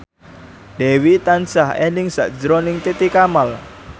Dewi tansah eling sakjroning Titi Kamal